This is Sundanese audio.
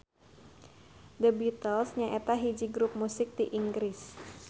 The Beatles nyaeta hiji grup musik ti Inggris.